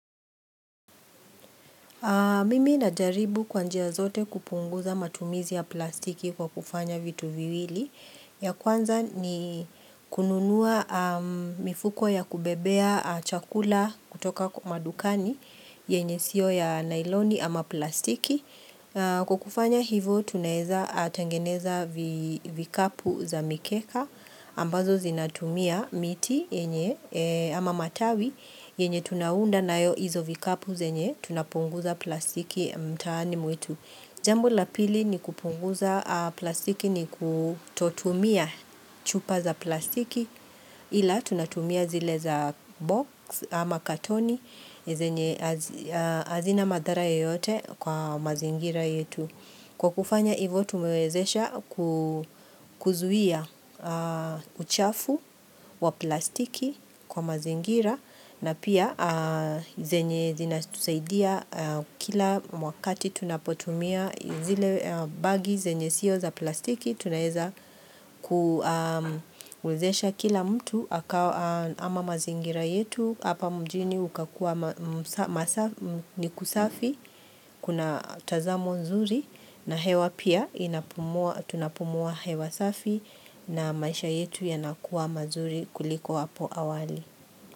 Mimi najaribu kwa njia zote kupunguza matumizi ya plastiki kwa kufanya vitu viwili. Ya kwanza ni kununua mifuko ya kubebea chakula kutoka madukani, yenye sio ya nailoni ama plastiki. Kwa kufanya hivo tunaweza tengeneza vikapu za mikeka ambazo zinatumia miti yenye ama matawi yenye tunaunda nayo hizo vikapu zenye tunapunguza plastiki mtaani mwetu. Jambo la pili ni kupunguza plastiki ni kutotumia chupa za plastiki ila tunatumia zile za box ama katoni, zenye hazina madhara yeyote kwa mazingira yetu. Kwa kufanya hivo tumewezesha kuzuia uchafu wa plastiki kwa mazingira na pia zenye zinatusaidia kila wakati tunapotumia zile bagi zenye sio za plastiki. Tunaweza kuwezesha kila mtu ama mazingira yetu Hapa mjini ukakuwa ni kusafi Kuna tazamo nzuri na hewa pia tunapumua hewa safi na maisha yetu yanakuwa mazuri kuliko hapo hawali.